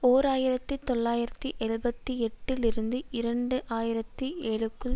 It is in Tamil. ஓர் ஆயிரத்தி தொள்ளாயிரத்து எழுபத்தி எட்டுஇலிருந்து இரண்டு ஆயிரத்தி ஏழுக்குள்